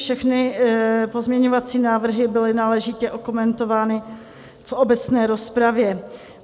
Všechny pozměňovací návrhy byly náležitě okomentovány v obecné rozpravě.